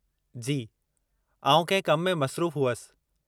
जी! आउं कंहिं कम में मसरूफ़ हुअसि।